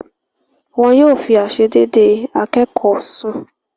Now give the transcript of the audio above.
Wọn yóò fi àisédédé akékọ̀ọ́ sùn.